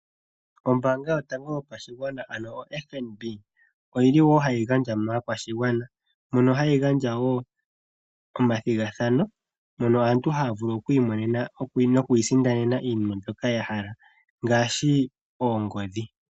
Ombaanga yotango yopashigwana ano FNB oyi li hayi gandja maakwashigwana mono hayi gandja woo omathigathano mono aantu ha ya vulu oku imonena noku isindanena iinima mbyoka ya hala ngaashi oongodhi.